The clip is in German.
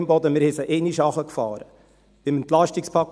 Imboden, wir haben sie einmal heruntergefahren, beim Entlastungspaket.